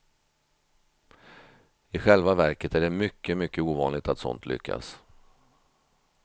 I själva verket är det mycket, mycket ovanligt att sånt lyckas.